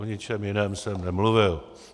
O ničem jiném jsem nemluvil.